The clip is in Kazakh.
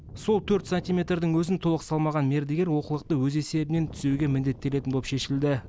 сол төрт сантиметрдің өзін толық салмаған мердігер олқылықты өз есебінен түзеуге міндеттелетін болып шешілді